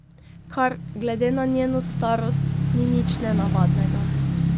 Kar, glede na njeno starost, ni nič nenavadnega.